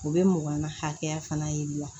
O bɛ mɔgɔnin hakɛya fana yir'i la